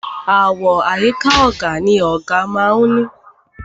Àwo àyíká ọ̀gà ni ọ̀gà má a ń ní.